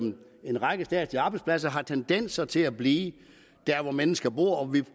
en række statslige arbejdspladser har tendens til at blive der hvor mennesker bor og vi